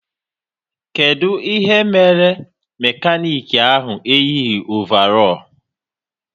Kedụ ihe mere mekanik ahụ eyighi ovarọl?